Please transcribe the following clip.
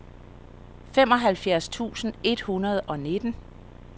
femoghalvfjerds tusind et hundrede og nitten